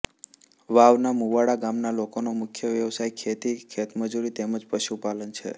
વાવના મુવાડા ગામના લોકોનો મુખ્ય વ્યવસાય ખેતી ખેતમજૂરી તેમ જ પશુપાલન છે